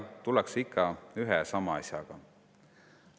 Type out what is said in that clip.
Tullakse ikka ühe ja sama asjaga.